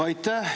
Aitäh!